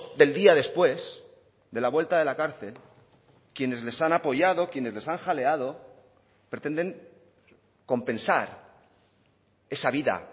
del día después de la vuelta de la cárcel quienes les han apoyado quienes les han jaleado pretenden compensar esa vida